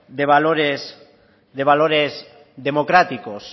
de valores democráticos